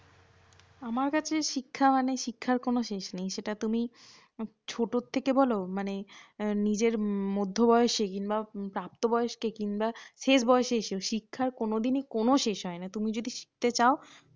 আমার কাছে শিক্ষা মানে শিক্ষার কোনও শেষ নেই সেটা তুমি ছতর থেকে বলও মানে নিজের মধ্য বয়সে বা প্রাপ্ত বয়স্কে কিংবা শেষ বয়সে এসে শিক্ষার কোনোদিনই কোনও শেষ হয়না। তুমি যদি শিখতে চাও